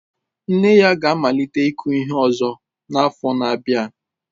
Nne ya ga-amalite ịkụ ihe ọzọ n'afọ na-abịa.